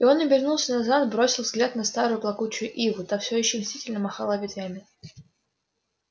и он обернулся назад бросил взгляд на старую плакучую иву та все ещё мстительно махала ветвями